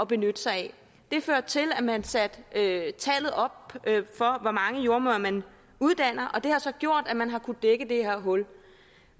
benytte sig af det førte til at man satte tallet op for hvor mange jordemødre man uddanner og det har så gjort at man har kunnet dække det her hul